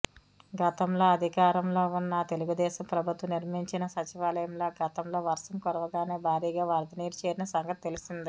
గతంలో అధికారంలోఉన్నతెలుగుదేశం ప్రభుత్వం నిర్మించిన సచివాలయంలో గతంలో వర్షం కురవగానే భారీగా వరదనీరు చేరిన సంగతి తెలిసిందే